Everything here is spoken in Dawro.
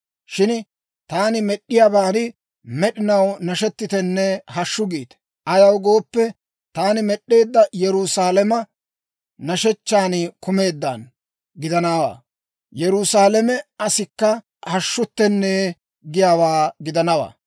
Shin taani med'd'iyaaban med'inaw nashettitenne hashshu giite. Ayaw gooppe, taani med'd'eedda Yerusaalama nashshechchan kumeeddaano gidana; Yerusaalame asikka hashshutenne giyaawaa gidana.